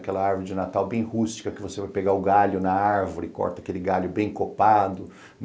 Aquela árvore de Natal bem rústica, que você vai pegar o galho na árvore, corta aquele galho bem copado.